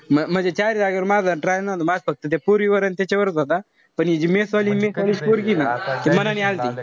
म म्हणजे चारी जागेवर माझा try नव्हता माझा फक्त त्या पोरीवर अन त्याच्यावरच होता. पण हि जी mess वाली mess पोरगीय ना ती मनाने आल्ती.